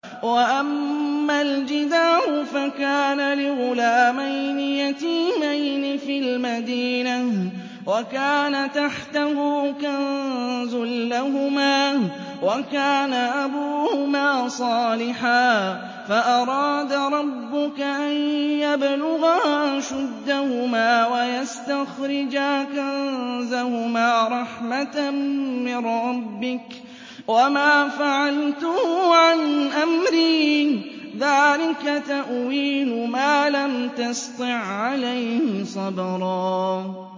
وَأَمَّا الْجِدَارُ فَكَانَ لِغُلَامَيْنِ يَتِيمَيْنِ فِي الْمَدِينَةِ وَكَانَ تَحْتَهُ كَنزٌ لَّهُمَا وَكَانَ أَبُوهُمَا صَالِحًا فَأَرَادَ رَبُّكَ أَن يَبْلُغَا أَشُدَّهُمَا وَيَسْتَخْرِجَا كَنزَهُمَا رَحْمَةً مِّن رَّبِّكَ ۚ وَمَا فَعَلْتُهُ عَنْ أَمْرِي ۚ ذَٰلِكَ تَأْوِيلُ مَا لَمْ تَسْطِع عَّلَيْهِ صَبْرًا